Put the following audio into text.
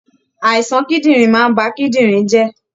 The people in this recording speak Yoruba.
Àìsàn kídìnrín máa ń ba kídìnrín jẹ́